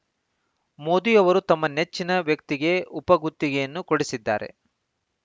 ಮೋದಿ ಅವರು ತಮ್ಮ ನೆಚ್ಚಿನ ವ್ಯಕ್ತಿಗೆ ಉಪಗುತ್ತಿಗೆಯನ್ನು ಕೊಡಿಸಿದ್ದಾರೆ